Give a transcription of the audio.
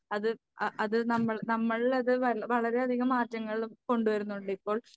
അത് അത് നമ്മൾ നമ്മളിലത് വളരെ വളരെയധികം മാറ്റങ്ങൾ കൊണ്ടുവരുന്നുണ്ട്. ഇപ്പോൾ